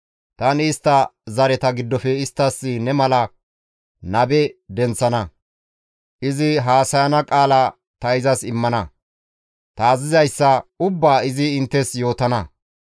Tani istta zareta giddofe isttas ne mala nabe denththana; izi haasayana qaala ta izas immana; ta azazizayssa ubbaa izi inttes yootana.